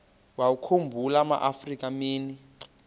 wawakhumbul amaafrika mini